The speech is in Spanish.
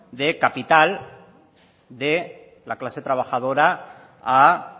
de capital de la clase trabajadora a